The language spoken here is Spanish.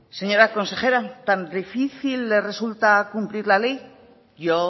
señora consejera tan difícil le resulta cumplir la ley yo